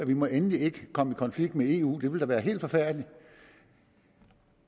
vi må endelig ikke komme i konflikt med eu det ville da være helt forfærdeligt